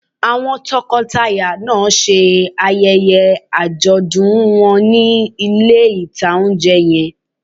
Àwọn tọkọtaya náà ṣe ayẹyẹ àjọ̀dún wọn ní ilé-ìtánjẹ yẹn